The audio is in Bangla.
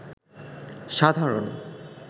সাধারণ